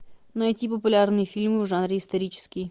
найти популярные фильмы в жанре исторический